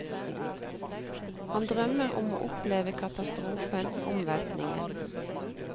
Han drømmer om å oppleve katastrofen, omveltningen.